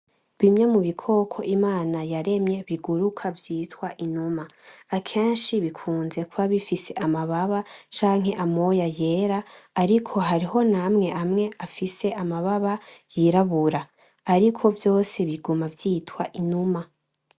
Bimwe mu bikoko Imana yaremye biguruka vyitwa Inuma ,akenshi bikunze kuba bifise amababa canke amoya yera, ariko hariho namwe amwe afise amababa yirabura , ariko vyose biguma vyitwa Inuma.